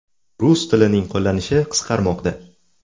Rus tilining qo‘llanishi qisqarmoqda.